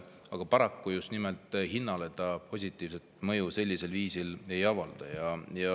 Aga paraku just nimelt hinnale see positiivset mõju sellisel viisil ei avalda.